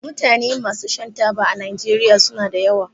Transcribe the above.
Mutane masu shan taba a najeriya suna da yawa.